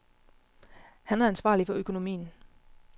Han er ansvarlig for økonomien.